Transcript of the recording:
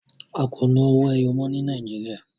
A kò ná owó ẹyọ mọ́ ní Nàìjíríà.